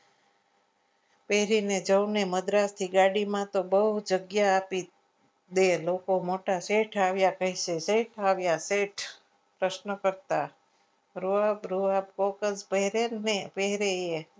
પહેરીને સૌને મદ્રાસી ગાડીમાં તો બહુ જગ્યા આપી તે લોકો મોટા શેઠ આવ્યા કહી શેઠ આવ્યા શેઠ પ્રશ્નકર્તા તો તો પહેરે જ ને એ પહેરે.